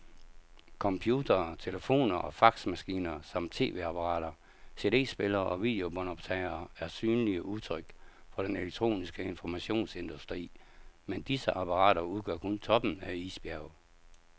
Computere, telefoner og faxmaskiner samt tv-apparater, cd-spillere og videobåndoptagere er synlige udtryk for den elektroniske informationsindustri, men disse apparater udgør kun toppen af isbjerget.